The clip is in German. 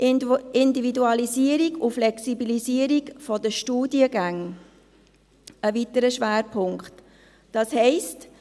Die Individualisierung und Flexibilisierung der Studiengänge ist ein weiterer Schwerpunkt, das heisst: